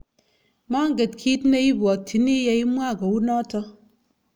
manget kiit ne ibwotyini ye imwa kou noto